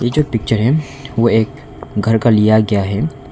जो पिक्चर है वो एक घर का लिया गया है।